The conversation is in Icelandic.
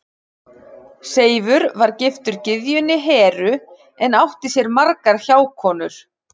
Seifur var giftur gyðjunni Heru en átti sér margar hjákonur.